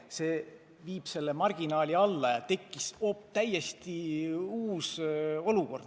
See võimaldab marginaali alla viia ja on tekkinud täiesti uus olukord.